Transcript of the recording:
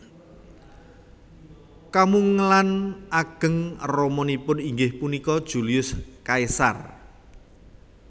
Kamungelan ageng ramanipun inggih punika Julius Caesar